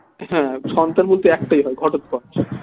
হ্যাঁ সন্তান বলতে একটাই হয় ঘটোৎকচ